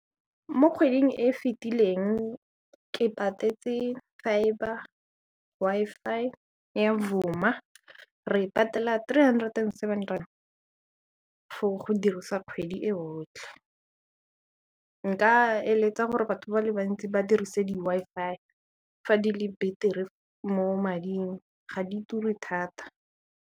Mo kgweding e e fetileng ke patetse fibre ke Wi-Fi ya Vuma re patela three hundred and seven rand for go dirisa kgwedi e yotlhe nka eletsa gore batho ba le bantsi ba dirise di-Wi-Fi fa di le betere mo mading ga di ture thata.